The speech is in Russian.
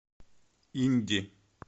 инди